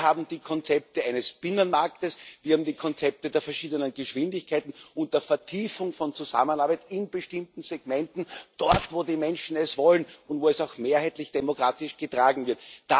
Wir haben die Konzepte eines Binnenmarktes, wir haben die Konzepte der verschiedenen Geschwindigkeiten und der Vertiefung von Zusammenarbeit in bestimmten Segmenten, dort, wo die Menschen es wollen und wo es auch mehrheitlich demokratisch getragen wird.